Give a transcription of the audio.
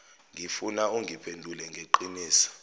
ngifuna ungiphendule ngeqiniso